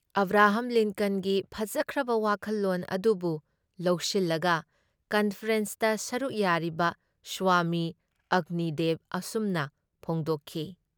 Abraham ꯂꯤꯟꯀꯟꯒꯤ ꯐꯖꯈ꯭ꯔꯕ ꯋꯥꯈꯜꯂꯣꯟ ꯑꯗꯨꯕꯨ ꯂꯧꯁꯤꯜꯂꯒ ꯀꯟꯐꯔꯦꯟꯁꯇ ꯁꯔꯨꯛ ꯌꯥꯔꯤꯕ ꯁ꯭ꯋꯥꯃꯤ ꯑꯒ꯭ꯅꯤꯗꯦꯕ ꯑꯁꯨꯝꯅ ꯐꯣꯡꯗꯣꯛꯈꯤ